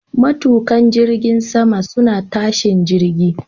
Matuƙan jirgin sama suna tashin jirgin.